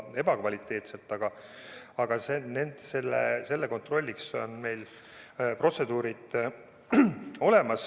Aga selle kontrolliks on meil olemas protseduurid.